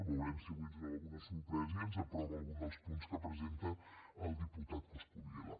veurem si avui ens dóna alguna sorpresa i ens aprova algun dels punts que presenta el diputat coscubiela